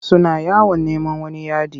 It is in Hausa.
Suna yawon neman wani yadi.